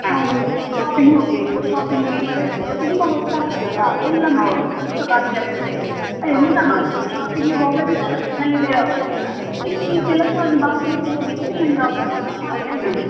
ಹಾಗೆ shopping ಹೋಗ್ಬೇಕು shopping ಗೆ ಹೊರಟ್ರೆ ತುಂಬಾ ಹೊತ್ತಾಗ್ತದಲ್ಲ ಎಲ್ಲ ಮನೆ ಕೆಲಸ ಎಲ್ಲ ಬಾಕಿಯಾಗ್ತಾದೆ, ಎಂತ ಮಾಡುದು shopping ಗೆ ಹೋಗದೆ ಸಹ ಬೇರೆ option ಇಲ್ಲ, ಇಲ್ಲಿ ಹೋಗಲಿಕ್ಕೂ ಸಹ ಬೇರೆ option ಇಲ್ಲ ಹಾಗೆ ಆಗಿದೆ.